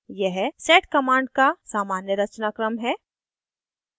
यह sed sed command का सामान्य रचनाक्रम है